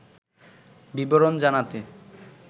বিবরণ জানাতে